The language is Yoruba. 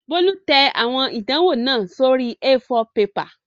Bólú tẹ àwọn ìdánwò náà sórí A4 pepà